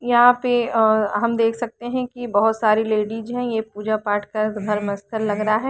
यहां पे आ हम देख सकते हैं की बहुत सारी लेडिस है ये पूजा पाठ का घर लग रहा है।